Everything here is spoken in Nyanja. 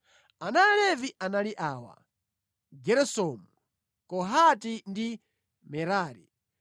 Ana a Levi anali awa: Geresomu, Kohati ndi Merari.